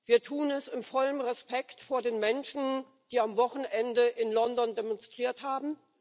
Wir tun es in vollem Respekt vor den Menschen, die am Wochenende in London demonstriert haben.